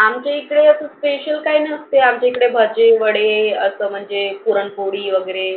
आमच्या इकडे special काही नसते. आमच्या इकडे भजे, वडे, असं म्हणजे पुरन पोळी, वगैरे